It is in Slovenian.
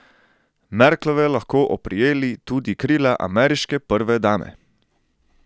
Merklove lahko oprijeli tudi krila ameriške prve dame!